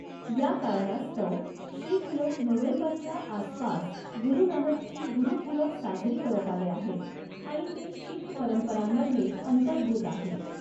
या कारणास्तव शीख लोक नोव्हेंबरच्या आसपास गुरु नानकची गुरुपूरब साजरी करत आले आहेत आणि ते शीख परंपरांमध्ये अंतर्भूत आहे.